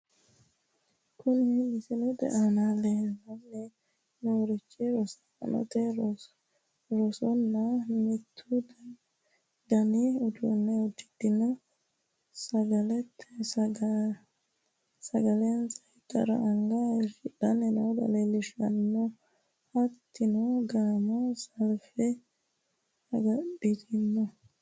Kuni misilete aana leellanni noorichi rosaanote, rosaano mittu dani uddano uddidhe sagalensa ittara anga hayiishidhanni noota leellishshanno, hattono gamu salfe agadhite no.